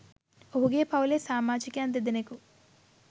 ඔහුගේ පවුලේ සාමාජිකයන් දෙදෙනෙකු